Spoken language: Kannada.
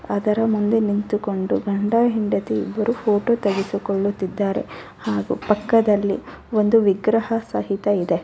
ಅದರ ಮುಂದೆ ನಿಂತುಕೊಂಡು ಗಂಡ ಹೆಂಡತಿ ಇಬ್ಬರು ಫೋಟೋ ತೆಗೆದುಕೊಳ್ಳುತ್ತಿದ್ದರೆ ಹಾಗು ಪಕ್ಕದಲ್ಲಿ ಒಂದು ವಿಗ್ರಹ ಸಹಿತ ಇದೆ .